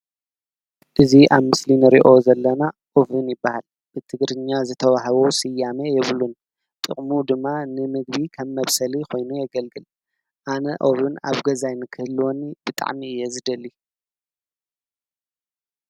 እዙ ኣብ ምስሊ ንርእዮ ዘለና ኦብን ይበሃል ብትግርኛ ዝተውሃቦ ስያሜ የብሉን ጥቕሙ ድማ ንምግቢ ከም መብሰል ኾይኑ የገልግል ኣነ ኦብን ኣብ ገዛይ ንክህልወኒ ብጣዕሚ እየ ዝደሊ።